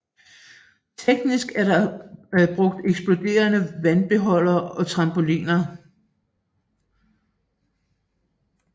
Teknisk er der brugt eksploderende vandbeholdere og trampoliner